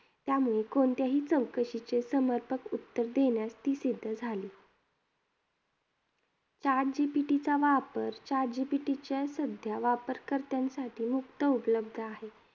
त्यामुळे कोणत्याही चौकशीचे समर्पक उत्तर देण्यास ती सिद्ध झाली. Chat GPT चा वापर, chat GPT चे सध्या वापरकर्त्यांसाठी मुफ्त उपलब्ध आहे.